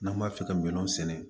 N'an b'a fɛ ka minɛnw sɛnɛ